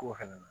Ko fɛnɛ na